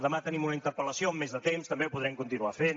demà tenim una interpel·lació amb més de temps també ho podrem continuar fent